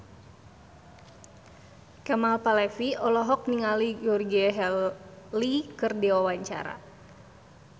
Kemal Palevi olohok ningali Georgie Henley keur diwawancara